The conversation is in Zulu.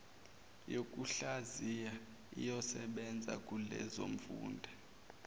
yokuhlaziya iyosebenza kulezofunda